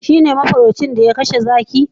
shi ne mafarauci ya iya kashe zaki